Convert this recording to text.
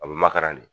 A bɛ makaran de